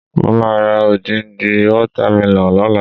Mo máa ra odindi water melon lọ́la.